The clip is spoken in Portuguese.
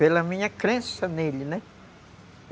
Pela minha crença nele, né?